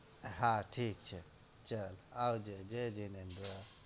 હા ઠીક છે ચલ આવજે જય જીનેદ્ર